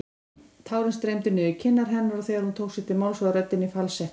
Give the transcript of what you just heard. Tárin streymdu niður kinnar hennar og þegar hún tók til máls var röddin í falsettu.